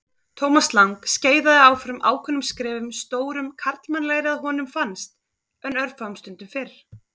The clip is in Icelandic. Thomas Lang skeiðaði áfram ákveðnum skrefum, stórum karlmannlegri að honum fannst en örfáum stundum fyrr.